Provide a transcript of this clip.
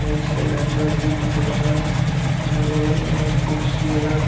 एक सिलेंडर भी दिख रहा है यहां बगल मे एक कुर्सी है।